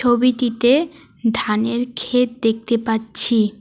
ছবিটিতে ধানের ক্ষেত দেখতে পাচ্ছি।